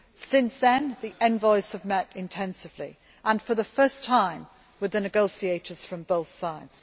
Since then, the envoys have met intensively and, for the first time, with the negotiators from both sides.